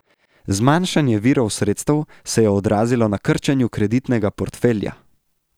Zmanjšanje virov sredstev se je odrazilo na krčenju kreditnega portfelja.